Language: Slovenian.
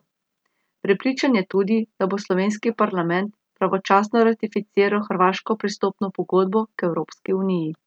Prepričan je tudi, da bo slovenski parlament pravočasno ratificiral hrvaško pristopno pogodbo k Evropski uniji.